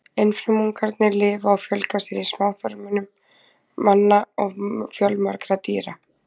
Einfrumungarnir lifa og fjölga sér í smáþörmum manna og fjölmargra dýra.